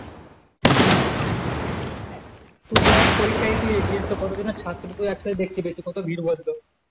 তু দেখ পরীক্ষা কত জন ছাত্রকে এক সাথে পেতিস কত ভিড় বন্ধ